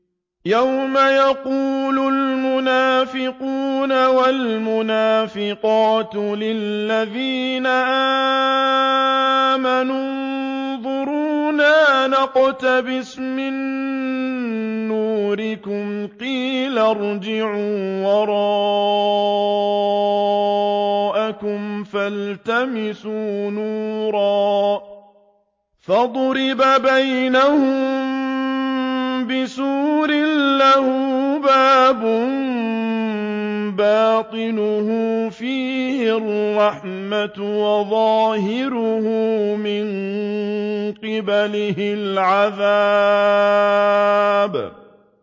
يَوْمَ يَقُولُ الْمُنَافِقُونَ وَالْمُنَافِقَاتُ لِلَّذِينَ آمَنُوا انظُرُونَا نَقْتَبِسْ مِن نُّورِكُمْ قِيلَ ارْجِعُوا وَرَاءَكُمْ فَالْتَمِسُوا نُورًا فَضُرِبَ بَيْنَهُم بِسُورٍ لَّهُ بَابٌ بَاطِنُهُ فِيهِ الرَّحْمَةُ وَظَاهِرُهُ مِن قِبَلِهِ الْعَذَابُ